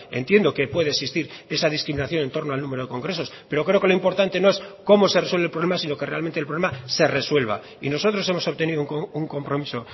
entiendo que puede existir esa discriminación en torno al número de congresos pero creo que lo importante no es cómo se resuelve el problema sino que realmente el problema se resuelva y nosotros hemos obtenido un compromiso